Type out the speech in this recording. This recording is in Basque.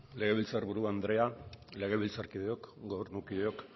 legebiltzar buru andrea legebiltzarkideok gobernukideok